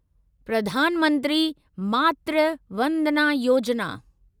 Pradhan Mantri Matru Vandana Yojana